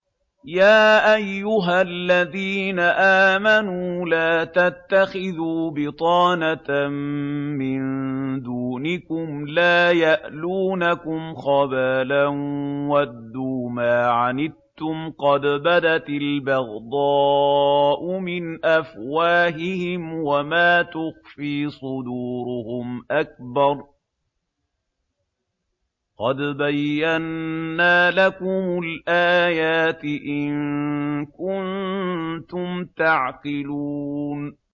يَا أَيُّهَا الَّذِينَ آمَنُوا لَا تَتَّخِذُوا بِطَانَةً مِّن دُونِكُمْ لَا يَأْلُونَكُمْ خَبَالًا وَدُّوا مَا عَنِتُّمْ قَدْ بَدَتِ الْبَغْضَاءُ مِنْ أَفْوَاهِهِمْ وَمَا تُخْفِي صُدُورُهُمْ أَكْبَرُ ۚ قَدْ بَيَّنَّا لَكُمُ الْآيَاتِ ۖ إِن كُنتُمْ تَعْقِلُونَ